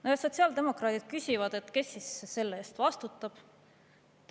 No ja sotsiaaldemokraadid küsivad, kes selle eest vastutab.